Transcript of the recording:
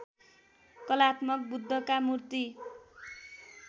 कलात्मक बुद्धका मूर्ति